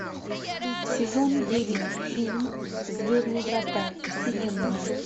сезон девять фильм звездные врата вселенная